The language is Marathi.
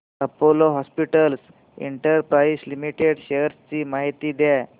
Apollo hospitals enterprise limited shares ची माहिती द्या